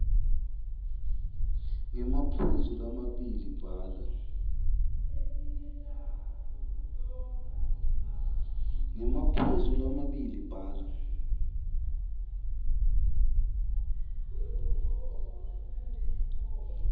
ngemaphuzu lamabili bhala